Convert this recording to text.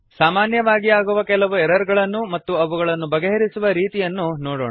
ಸಾಮಾನ್ಯವಾಗಿ ಆಗುವ ಕೆಲವು ಎರರ್ ಗಳನ್ನೂ ಮತ್ತು ಅವುಗಳನ್ನು ಬಗೆಹರಿಸುವ ರೀತಿಯನ್ನೂ ನೋಡೋಣ